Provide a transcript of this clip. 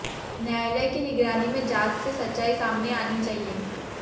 न्यायालय की निगरानी में जांच से सच्चाई सामने आनी चाहिए